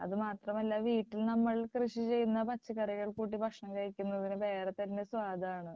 അതുമാത്രമല്ല വീട്ടിൽ നമ്മൾ നമ്മൾ കൃഷിചെയ്യുന്ന പച്ചക്കറികൾ കൂട്ടി ഭക്ഷണം കഴിക്കുന്നതിന് വേറെ തന്നെ സ്വാദാണ്.